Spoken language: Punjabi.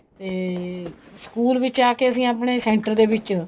ਤੇ ਸਕੂਲ ਵਿੱਚ ਆ ਕੇ ਅਸੀਂ center ਦੇ ਵਿੱਚ